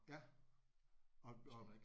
Ja og og